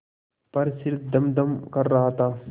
पर सिर धमधम कर रहा था